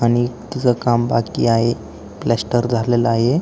आणि तस काम बाकी आहे प्लास्टर झालेल आहे.